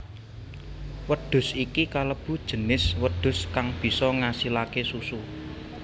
Wedhus iki kalebu jinis wedhus kang bisa ngasilaké susu